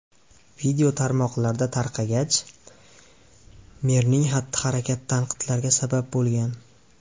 Video tarmoqlarda tarqalgach, merning xatti-harakati tanqidlarga sabab bo‘lgan.